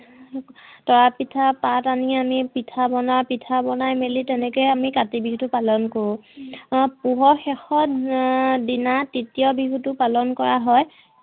তৰা পিঠা পাত আনি আমি পিঠা বনাওঁ, পিঠা বোনাই মেলি তেনেকে আমি কাতি বিহু তো পালন কৰো। পুহৰ শেষৰ দিনা তৃতিয় বিহুতো পালন কৰা হয়